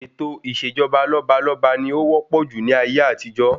Ètò ìṣèjọba lọ́balọ́ba ni ó wópò jù ní ayé àtijó.